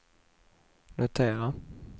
notera